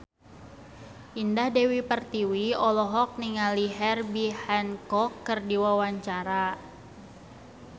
Indah Dewi Pertiwi olohok ningali Herbie Hancock keur diwawancara